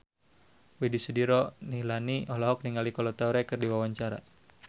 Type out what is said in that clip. Widy Soediro Nichlany olohok ningali Kolo Taure keur diwawancara